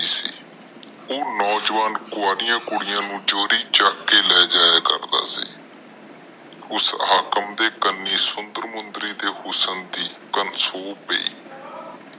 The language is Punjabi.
ਉਹ ਨੌਜਵਾਨ ਕਵਾਰੀਆਂ ਕੁੜੀਆਂ ਨੂੰ ਚੂਰੀ ਚਕ ਕੇ ਲੈ ਜਾਇਆ ਕਰਦਾ ਸੀ। ਉਸ ਹਾਕਮ ਦੇ ਕਾਨੇ ਸੁੰਦਰ ਮੁੰਦਰੀ ਦੇ ਹੁਸਨ ਦੀ ਗੱਲ ਸੁਣਗੀ